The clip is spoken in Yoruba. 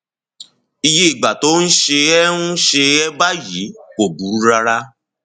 iye ìgbà tó o ń ṣe é ń ṣe é báyìí kò burú rárá